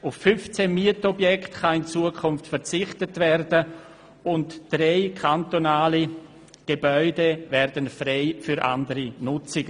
Auf 15 Mietobjekte kann in Zukunft verzichtet werden und drei kantonale Gebäude werden frei für andere Nutzungen.